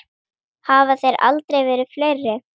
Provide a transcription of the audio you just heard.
Hafa þeir aldrei verið fleiri.